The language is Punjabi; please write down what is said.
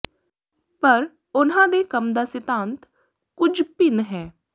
ਪਰ ਉਨ੍ਹਾਂ ਦੇ ਕੰਮ ਦਾ ਸਿਧਾਂਤ ਕੁਝ ਭਿੰਨ ਹੈ